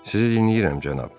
Sizi dinləyirəm, cənab.